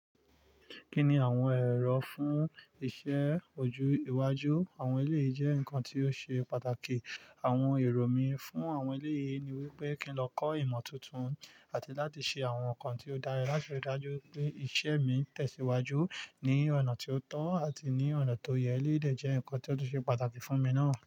Kí ni àwọn ẹ̀rọ fún iṣẹ́ ojú iwájú àwọn eleyii je nǹkan tí ó ṣe pàtàkì. Àwọn èrò mí fún àwọn eleyii ni wípé kí n lọ kọ́ ìmọ̀ tuntun àti láti ṣe àwọn nǹkan tí ó dára láti rí i dájú wipé iṣẹ́ mi ń tẹ̀síwájú ní ọ̀nà tí ó tọ́ àti ní ọ̀nà tó yẹ. Eleyii de jẹ́ nǹkan tí ó ṣe pàtàkì fún mi náà.